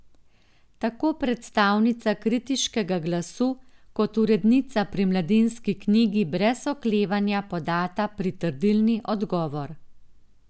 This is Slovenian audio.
Tako predstavnica kritiškega glasu kot urednica pri Mladinski knjigi brez oklevanja podata pritrdilni odgovor.